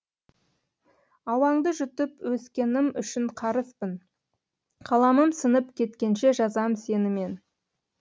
ауаңды жұтып өскенім үшін қарызбын қаламым сынып кеткенше жазам сені мен